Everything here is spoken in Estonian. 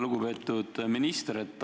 Lugupeetud minister!